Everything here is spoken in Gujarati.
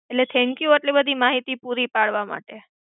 એટલે thank you એટલી બધી માહિતી પુરી પાડવા માટે.